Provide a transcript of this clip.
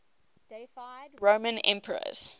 deified roman emperors